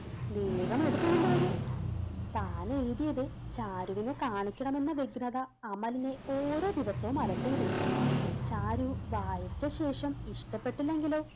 വേഗം എടുത്തു കൊണ്ടുവരു താൻ എഴുതിയത് ചാരുവിനെ കാണിക്കണം എന്ന വ്യഗ്രത അമലിനെ ഓരോ ദിവസവും അലട്ടിയിരുന്നു. ചാരു വായിച്ചശേഷം ഇഷ്ടപ്പെട്ടില്ലെങ്കിലോ.